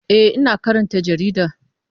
E, ina karanta jarida.